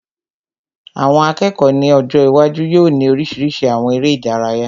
Àwọn akẹ́kọ̀ọ́ ní ọjọ́ iwájú yóò ní oríṣiríṣi àwọn eré ìdárayá